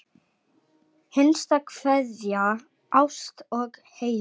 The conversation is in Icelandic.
Hinsta kveðja, Ásta og Heiðar.